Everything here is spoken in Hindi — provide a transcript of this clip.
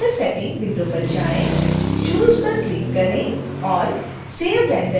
choose पर क्लिक करें और save render as विंडो खोलें